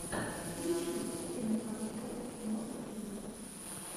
включи киноконцерн мосфильм